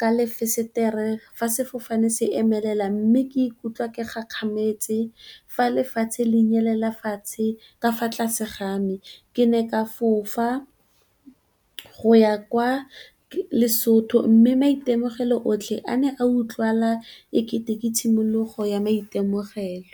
ka lefesetere, fa sefofane se emelela mme, ke ikutlwa ke kgakgamatse fa lefatshe le nyelela fatshe ka fa tlase ga me. Ke ne ka fofa go ya kwa Lesotho mme, maitemogelo otlhe a ne a utlwala ekete ke tshimologo ya maitemogelo.